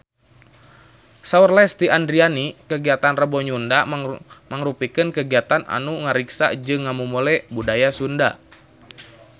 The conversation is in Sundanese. Saur Lesti Andryani kagiatan Rebo Nyunda mangrupikeun kagiatan anu ngariksa jeung ngamumule budaya Sunda